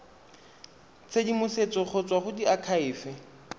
tshedimosetso go tswa go diakhaefe